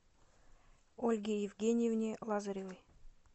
ольге евгеньевне лазаревой